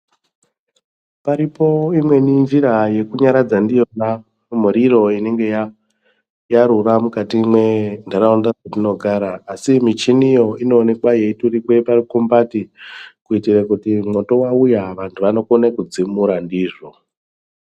Paripo imweni njira yekunyaradza ndiyona miriro inenge yarura mukati mwenharaunda dzetinogara asi michiniyo inoonekwa yeiturikwa parukumbati kuitire kuti mwoto wauya vanokone kudzimura ndizvo.